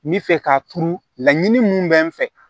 N bɛ fɛ k'a turu laɲini mun bɛ n fɛ